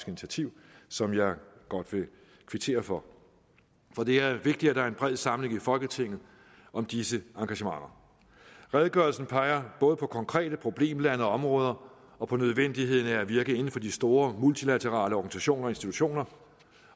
initiativ som jeg godt vil kvittere for for det er vigtigt at der er en bred samling i folketinget om disse engagementer redegørelsen peger både på konkrete problemlande og områder og på nødvendigheden af at virke inden for de store multilaterale organisationer og institutioner